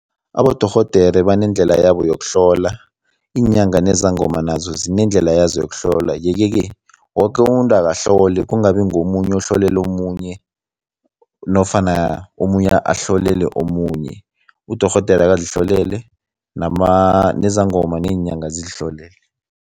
Abodorhodere banendlela yabo yokuhlola, inyanga nezangoma nazo zinendlela yazo yokuhlola yeke-ke woke umuntu akahlole, kungabi ngomunye ohlolela omunye nofana omunye ahlolele omunye udorhodera akazihlolele nezangoma neenyanga zizihlolele.